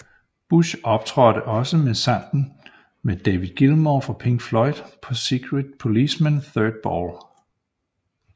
Bush optrådte også med sangen med David Gilmour fra Pink Floyd på Secret Policeman Third Ball